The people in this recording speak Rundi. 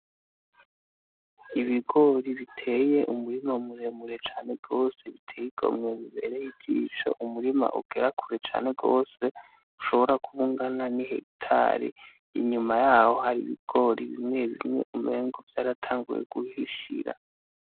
Ibigori biteye umurima muremure cane gose biteye igomwe bibereye ijisho umurima ugera kure cane gose ushobora kuba ungana n'ihegitari inyuma yaho hari ibigori bimwe bimwe umengo vyaratanguye guhishira